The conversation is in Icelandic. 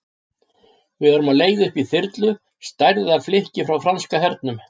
Við erum á leið upp í þyrlu, stærðar flikki frá franska hernum.